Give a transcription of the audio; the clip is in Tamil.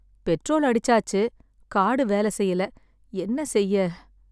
பெட்ரோல் அடிச்சாச்சு. கார்டு வேலை செய்யல. என்ன செய்ய?